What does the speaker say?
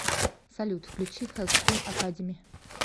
салют включи хэллскрим академи